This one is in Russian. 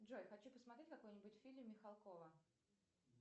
джой хочу посмотреть какой нибудь фильм михалкова